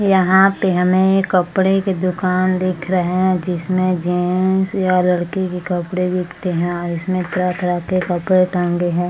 यहाँ पे हमें एक कपड़े की दुकान दिख रहे है जिसमें जेन्ट्स या लड़की के कपड़े बिकते है और इसमें तरह-तरह के कपड़े टांगे है।